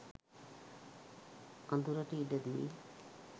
අඳුරට ඉඩදී